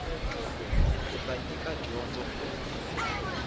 u ta nyika dyondzo ku